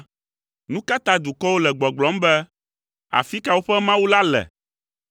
Nu ka ta dukɔwo le gbɔgblɔm be, “Afi ka woƒe Mawu la le?”